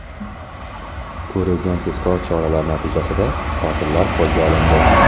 Ko‘rilgan tezkor choralar natijasida qotillar qo‘lga olindi.